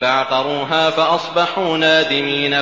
فَعَقَرُوهَا فَأَصْبَحُوا نَادِمِينَ